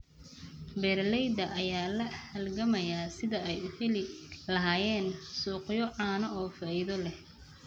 Beeralayda ayaa la halgamaya sidii ay u heli lahaayeen suuqyo caano oo faa'iido leh.